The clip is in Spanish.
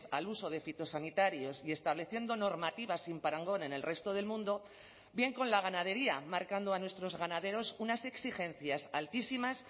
al uso de fitosanitarios y estableciendo normativa sin parangón en el resto del mundo bien con la ganadería marcando a nuestros ganaderos unas exigencias altísimas